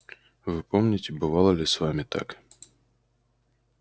вы помните бывало ли с вами так